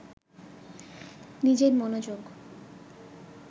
নিজের মনোযোগ